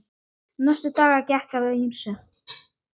Næstu daga gekk á ýmsu.